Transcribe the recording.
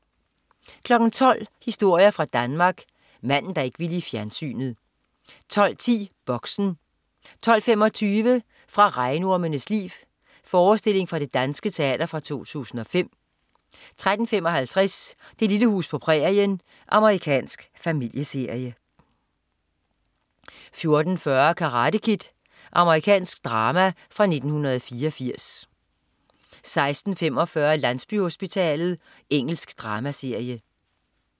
12.00 Historier fra Danmark. Manden, der ikke ville i fjernsynet 12.10 Boxen 12.25 Fra Regnormenes Liv. Forestilling fra Det Danske Teater fra 2005 13.55 Det lille hus på prærien. Amerikansk familieserie 14.40 Karate Kid. Amerikansk drama fra 1984 16.45 Landsbyhospitalet. Engelsk dramaserie